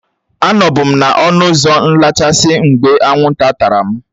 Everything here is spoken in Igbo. Anọbu m n'ọnụ ụzọ nlechasị mgbe anwụ nta tara m